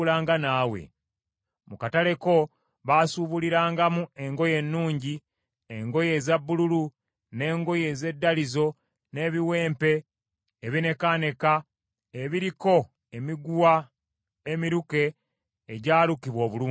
Mu katale ko baasubulirangamu engoye ennungi, engoye eza bbululu, n’engoye ez’eddalizo, n’ebiwempe ebineekaneeka ebiriko emiguwa emiruke egyalukibwa obulungi.